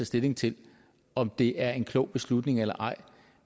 stilling til om det er en klog beslutning eller ej